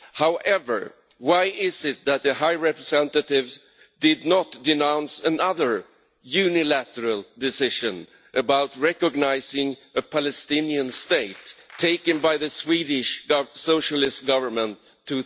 However, why is it that the High Representative did not denounce another unilateral decision, about recognising the Palestinian State, taken by the Swedish Socialist Government in